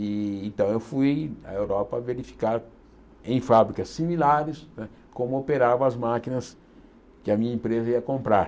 Então eu fui à Europa verificar em fábricas similares né como operavam as máquinas que a minha empresa ia comprar.